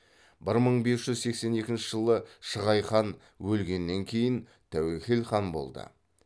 бір мың бес жүз сексен екінші жылы шығай хан өлгеннен кейін тәуекел хан болды